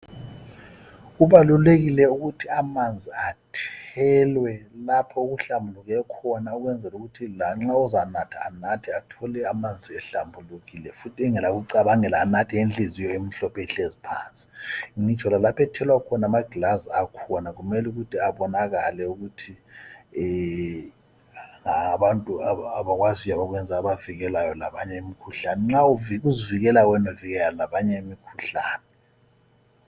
Kubalulekile ukuthi amanzi athelwe lapho okuhlambuluke khona ukwenzela ukuthi lanxa uzanatha, anathe athole amanzi ehlambulukile futhi engela kucabangela anathe inhliziyo imhlophe ihlezi phansi, ngitsho lalapho ethelwa khona amagilazi akhona kumele ukuthi abonakale ukuthi ngawabantu abakwaziyo abakwenzayo abavikela imikhuhlane, nxa uzivikela wena uvikela labanye imikhuhlane.